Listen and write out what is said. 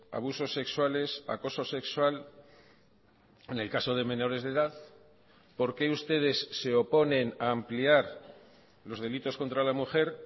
abusos sexuales acoso sexual en el caso de menores de edad por qué ustedes se oponen a ampliar los delitos contra la mujer